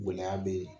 Gɛlɛya be yen